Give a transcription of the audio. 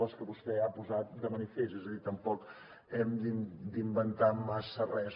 les que vostè ha posat de manifest és a dir tampoc hem d’inventar massa res